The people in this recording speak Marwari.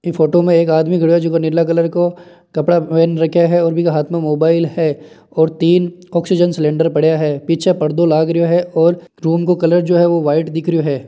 इ फ़ोटो में आदमी खड़ा है जो नीला कलर का कपडा पहेन रखा है और इनके हाथ में मोबाइल है और तीन ऑक्सीजन सिलेण्डर पड़िया है पीछे परदों लाग रहियो और रूम को कलर जो है वो व्हाईट दिख रहियो है।